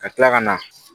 Ka tila ka na